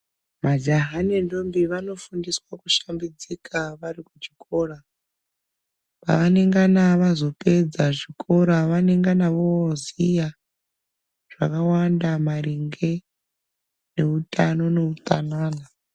Majaha nendombi vanofundiswa kushambidzika vari kuchikora pavanongana vazopedza chikora Vanongana voziya zvakawanda maringe nehutano nehutsanana.